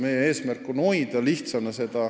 Meie eesmärk on hoida seda lihtsana.